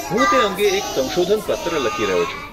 હું તે અંગે એક સંશોધન પત્ર લખી રહ્યો છું.